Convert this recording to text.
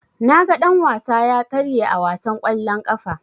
Naga dan-wasa ya karye a wasan kwallon ƙafa.